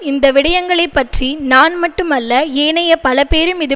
இந்த விடயங்கள் பற்றி நான் மட்டுமல்ல ஏனைய பலபேரும் இது